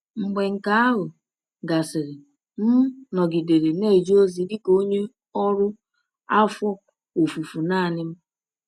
Mgbe nke ahụ gasịrị, m nọgidere na-eje ozi dị ka onye ọrụ afọ ofufo naanị m.